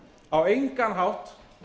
á engan hátt